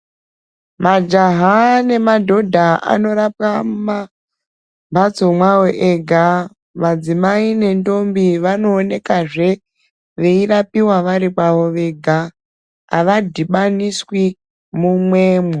Majaha nemadhodha anorapwa mumhatso mawo ega ,madzimai nendombi vanoonekazve veirapiwa vari pawo wega hawadhibaniswi mumwemo.